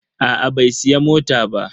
Aa bai siya mota ba.